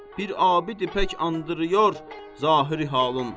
Bir abidə pək andırır zahiri halın.